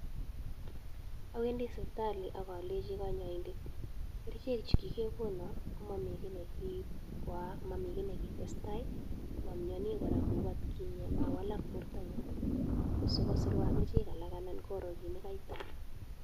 Awendi sipitali ak alenchi "Kerichek chu kigekonon komomi kiy ibkoyaak, momi kiy nekitestai amioni kora kou atkinye mawalak bortonyun" koswa kosirwa kerichek alak an koroo kit ne kaitan.